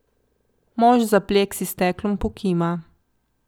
Mož za pleksi steklom pokima.